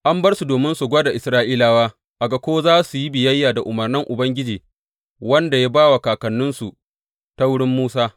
An bar su domin su gwada Isra’ilawa a ga ko za su yi biyayya da umarnin Ubangiji, wanda ya ba wa kakanninsu ta wurin Musa.